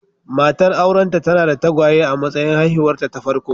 Matar aurenta tana da tagwaye a matsayin haihuwarta ta farko.